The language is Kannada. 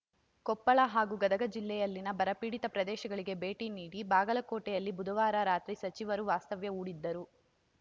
ಕೊಪ್ಪಳ ಹಾಗೂ ಗದಗ ಜಿಲ್ಲೆಯಲ್ಲಿನ ಬರಪೀಡಿತ ಪ್ರದೇಶಗಳಿಗೆ ಭೇಟಿ ನೀಡಿ ಬಾಗಲಕೋಟೆಯಲ್ಲಿ ಬುಧವಾರ ರಾತ್ರಿ ಸಚಿವರು ವಾಸ್ತವ್ಯ ಹೂಡಿದ್ದರು